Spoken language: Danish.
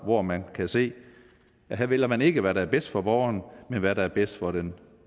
hvor man kan se at her vælger man ikke hvad der er bedst for borgeren men hvad der er bedst for den